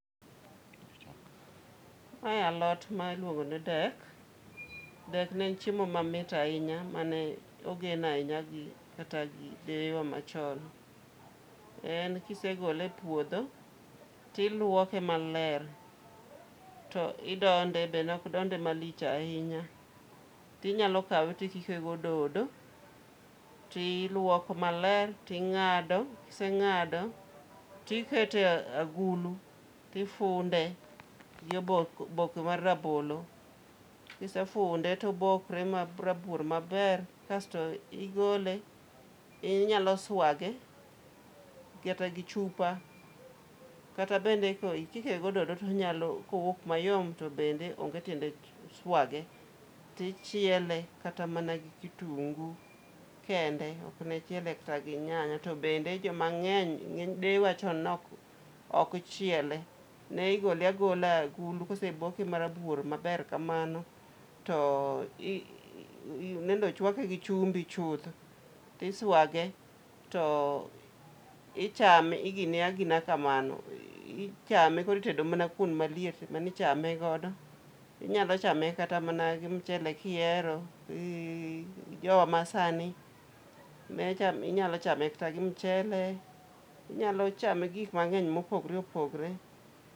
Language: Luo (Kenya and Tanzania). Mae alot ma iluongo ni dek. Dek ne chiemo mamit ahinya, mane ogen ahinya gi kata gi deye wa machon. En kisegole e puodho, tiluoke maler, to idonde be nok donde malich ahinya. Tinyalo kawe tikike gi ododo, tiluoke maler, ting'ado, kiseng'ado, tiketo e agulu, tifunde gi oboke oboke mar rabolo, kisefunde to obokre ma rabuor maber kasto igole. Inyalo swage, kata gi chupa. Kata bende ka ikike gi ododo tonyalo kowuok mayom, to bende onge tiende swage. Tichiele kata mana gi kitungu kende, okne chiele kata gi nyanya. To bende joma ng'eny, deye wa chon ne ok okchiele. Ne igole agola e agulu, kose boke ma rabuor maber kamano, to ii nende ochwake gi chumbi chuth. To iswage, to ichame igine agina kamano, ichame koro itedo mana kuon maliet mane ichame godo. Inyalo chame kata mana gi mchele kihero, gi jowa ma sani, ne chame inyalo chame kata mana gi mchele, inyalo chame gi gik mang'eny mopogore opogre.